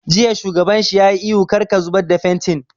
Jiya shugaban shi ya yi ihu 'Kar ka zubar da fentin'!